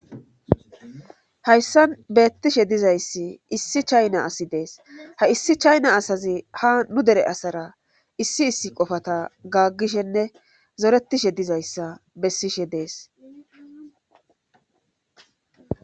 Hayssan beettishe dizayssi issi chayna asi dees ha issi chayna asazi ha nu dere asara issi issi qofata gaaggishenne zoretishe dizayssa bessishe dees